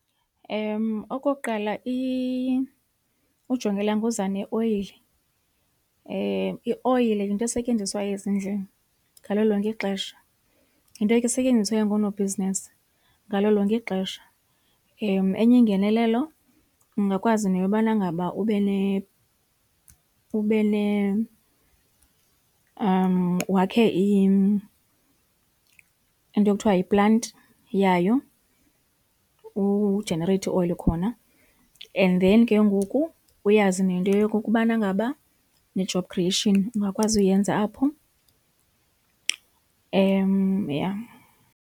Okokuqala, ujongilanga uza neoyile. Ioyile ke yinto esetyenziswayo ezindlini ngalo lonke ixesha, yinto esetyenziswayo ngoonobhizinesi ngalo lonke ixesha. Enye ingenelelo ungakwazi neyobana ngaba wakhe into ekuthiwa yiplanti yayo ujenereyithe ioyile khona and then ke ngoku uyazi nento yokokubana ngaba ne-job creation ungakwazi uyenza apho, yha.